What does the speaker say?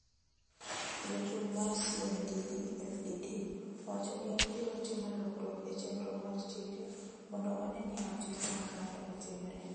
Jachung' mar CNDD FDD owacho ni obiro timo lokruok e chenro mar chike mondo one ni ratiro makare otimre